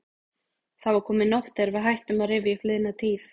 Það var komin nótt þegar við hættum að rifja upp liðna tíð.